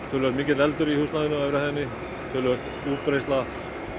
töluvert mikill eldur í húsnæðinu á efri hæðinni töluverð útbreiðsla